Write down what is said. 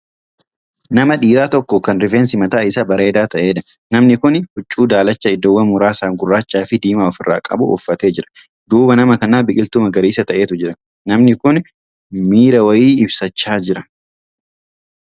Nama dhiiraa tokko Kan rifeensi mataa Isaa bareedaa ta'eedha. namni Kuni huccuu daalacha iddoowwan muraasaan gurraachaa Fi diimaa ofirraa qabu uffatee jira. duuba nama kanaa biqiltuu magariisa ta'etu Jira. namnai Kuni miira wayii ibsachaa Jira.